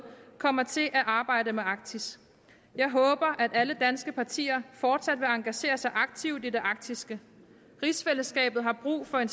kommer til at arbejde med arktis jeg håber at alle danske partier fortsat vil engagere sig aktivt i det arktiske rigsfællesskabet har brug for en